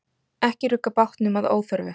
Ekki rugga bátnum að óþörfu.